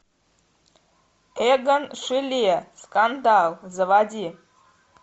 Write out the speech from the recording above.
эгон шиле скандал заводи